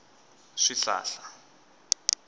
swihlahla